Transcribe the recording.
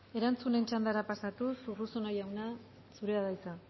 erantzunen txandara pasatuz urruzuno jauna zurea da hitza